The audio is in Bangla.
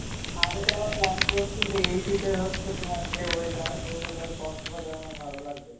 আমি তো এবার plan করসি যে এই শীতে হচ্ছে তোমার যে weather, এই weather এ কক্সবাজার মনে হয় ভালো লাগবে,